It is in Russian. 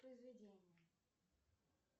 произведение